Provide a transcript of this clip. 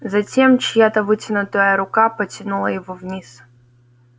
затем чья-то вытянутая рука потянула его вниз